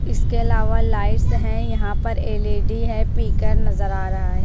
इसके अलावा लाइट्स हैं यहां पर एल_ई_डी है पीकर नजर आ रहा है।